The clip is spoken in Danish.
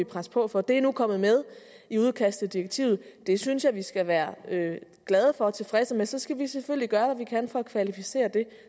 presse på for er nu kommet med i udkastet til direktivet det synes jeg vi skal være glade for og tilfredse med og så skal vi selvfølgelig gøre hvad vi kan for at kvalificere det